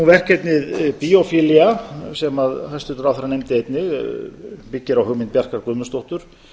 verkefnið biophilia sem hæstvirtur ráðherra nefndi einnig byggir á hugmynd bjarkar guðmundsdóttur